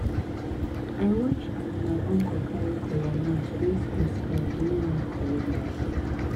i watch as my uncle carry kola nut raise go sky during raincalling rite